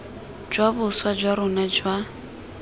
jwa boswa jwa rona jwa